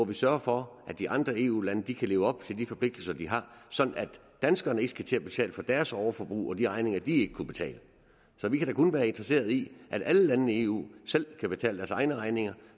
vi sørger for at de andre eu lande kan leve op til de forpligtelser de har sådan at danskerne ikke skal til at betale for deres overforbrug og de regninger de ikke kunne betale så vi kan da kun være interesseret i at alle landene i eu selv kan betale deres egne regninger